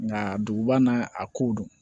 Nka duguba na a kow don